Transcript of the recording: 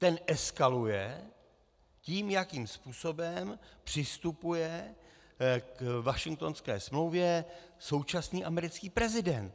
Ten eskaluje tím, jakým způsobem přistupuje k Washingtonské smlouvě současný americký prezident.